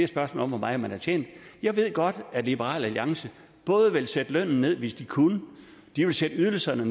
spørgsmål om hvor meget man har tjent jeg ved godt at liberal alliance både ville sætte lønnen ned hvis de kunne og sætte ydelserne